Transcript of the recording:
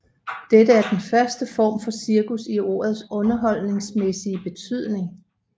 Dette er den første form for cirkus i ordets underholdningsmæssige betydning